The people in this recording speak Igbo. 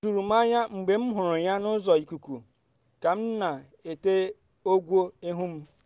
o juru m anya mgbe m hụrụ ya n’ụzọ ikuku ka m na-ete ọgwụ ihu m